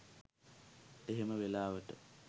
එහෙම වෙලාවට